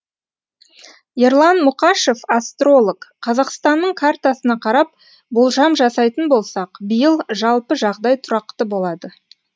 ерлан мұқашев астролог қазақстанның картасына қарап болжам жасайтын болсақ биыл жалпы жағдай тұрақты болады